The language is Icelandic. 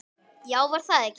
Já, var það ekki!